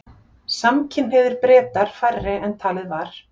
Samkynhneigðir Bretar færri en talið var